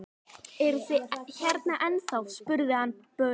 Eruð þið hérna ennþá? spurði hann börnin.